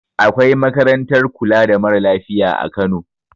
Akwai makarantar kula da mara lafiya a kano